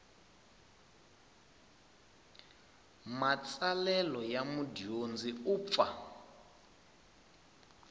matsalelo ya mudyondzi u pfa